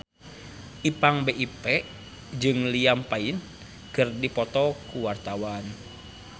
Ipank BIP jeung Liam Payne keur dipoto ku wartawan